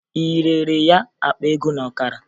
Ị rere ya akpa ego na ọkara?